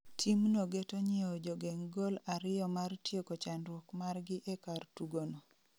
Team no geto nyieo jogeng' gol ariyo mar tieko chandruok margi e kar tugo no